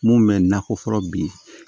Mun bɛ nakɔ fɔlɔ bi